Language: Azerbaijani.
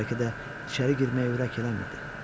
Bəlkə də içəri girməyə ürək eləmirdi.